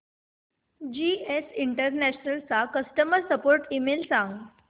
GS International चा customer support email सांग